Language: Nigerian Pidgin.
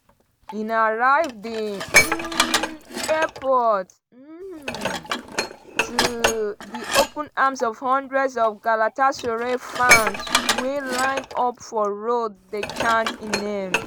e arrive di um airport um to di open arms of hundreds of galatasaray fans wey line up for road dey chant im name.